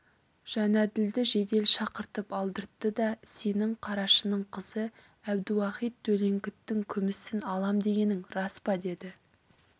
жәнәділді жедел шақыртып алдыртты да сенің қарашының қызы әбдіуақит төлеңгіттің күмісін алам дегенің рас па деді